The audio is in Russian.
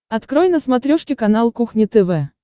открой на смотрешке канал кухня тв